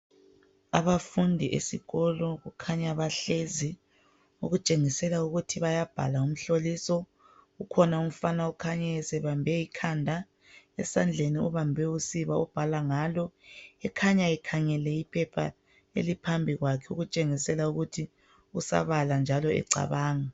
Abafundi esikolo kukhanya bahlezi okutshengisela ukuthi bayabhala umhloliso kukhona umfana okhanya esebambe ikhanda esandleni ubambe usiba abhala ngalo ekhanya ekhangele iphepha eliphambi kwakhe okutshengisela ukuthi usabala njalo ecabanga.